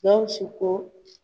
Gawusu ko